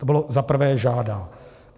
- To bylo za prvé, žádá.